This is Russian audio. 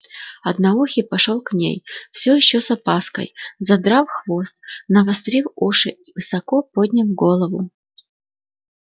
одноухий пошёл к ней всё ещё с опаской задрав хвост навострив уши и высоко подняв голову